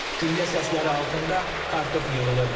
Güllə səsləri altında kartof yığılırdı.